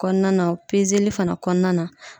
Kɔnɔna na pezeli fana kɔnɔna na.